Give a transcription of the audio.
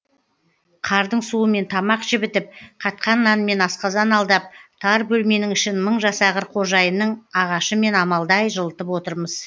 қардың суымен тамақ жібітіп қатқан нанмен асқазан алдап тар бөлменің ішін мың жасағыр қожайынның ағашымен амалдай жылытып отырмыз